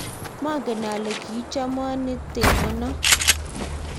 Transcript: maangen ale kiichomo neteno no